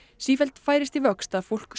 sífellt færist í vöxt að fólk